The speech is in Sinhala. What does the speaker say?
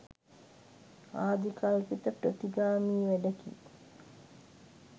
ආදිකල්පිත ප්‍රතිගාමී වැඩකි